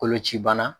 Koloci bana